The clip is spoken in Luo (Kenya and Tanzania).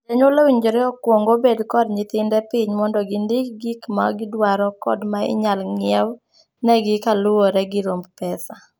Janyuol owinjore okuong obed kod nyithinde piny mondo gindik gik ma gidwaro kod ma inyal ng'iew negi kaluwore gi romb pesa.